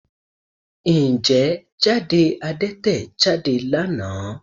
Ǹjẹ́ jáde Adẹ́tẹ̀ jáde lánàá?